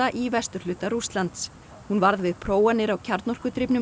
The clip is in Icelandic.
í vesturhluta Rússlands hún varð við prófanir á